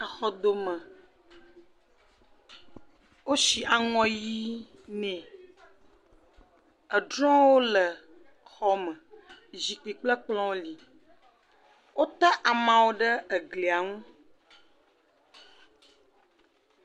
Exɔdome. Wosi aŋɔ ɣi ne. Etɔ̃wo li. Zikpui kple ekplɔwo li. Wo ta amawo ɖe eglia nu.